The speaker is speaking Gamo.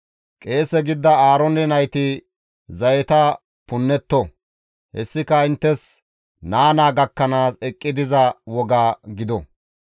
Qeese gidida Aaroone nayti zayeta punnetto; hessika inttes naa naa gakkanaas eqqi diza woga gido.